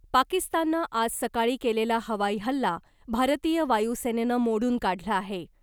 पाकिस्ताननं आज सकाळी केलेला हवाई हल्ला , भारतीय वायुसेनेनं मोडून काढला आहे .